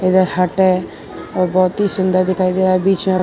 बहुत ही सुंदर दिखाई दे रहा है। बीच में--